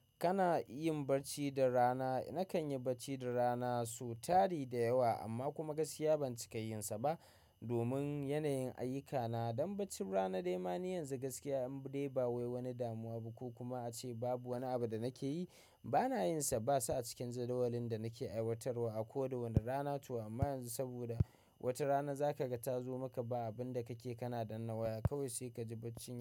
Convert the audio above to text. Kana yin barci da rana? Nakan yi barci da rana squ tari da yawa amma kuma gaskiya ban cika yin sa ba domin yanayin ayyukana. Dan barcin rana dai ma ni yanzu gaskiya in dai ba wai wani damuwa ba ko kuma ace babu wani abu da nake yi. Bana yin sa, ba sa a cikin jadawalin da nake aiwatarwa a ko da wana rana to. Amma yanzu sabida wata rana zaka ga ta zo maka ba abunda kake kana danna waya kawai sai ka ji bacci.